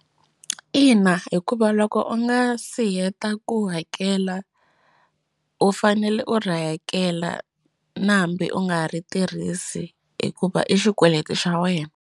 Ina hikuva loko u nga si heta ku hakela u fanele u ri hakela na hambi u nga ri tirhisi hikuva i xikweleti xa wena.